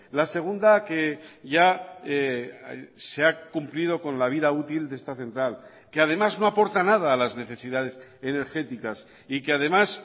la segunda que ya se ha cumplido con la vida útil de esta central que además no aporta nada a las necesidades energéticas y que además